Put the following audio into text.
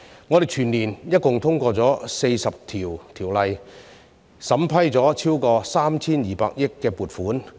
我們全年度一共通過了40項條例，審批了超過 3,200 億元撥款。